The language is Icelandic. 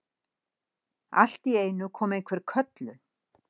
Allt í einu kom einhver köllun